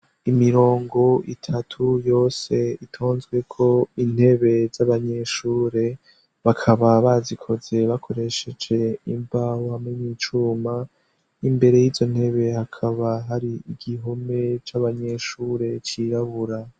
Imirongo itatu yose itonzweko intebe z'abanyeshure, bakaba bazikoze bakoresheje imbaho hamwewa n'icuma, imbere yizo ntebe hakaba hari igihome c'abanyeshure cirabura.